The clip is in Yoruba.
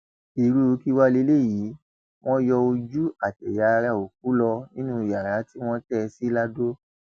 irú kí wàá lélẹyìí wọn yọ ojú àtẹyà ara òkú lọ nínú yàrá tí wọn tẹ ẹ sí lado